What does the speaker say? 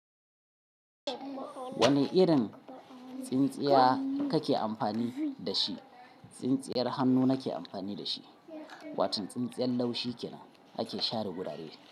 Wane irin tsintsiya kake amfani da shi? Tsintsiyar hannu nake amfani da shi. Wato tsintsiyar laushi kinan ake share gurare.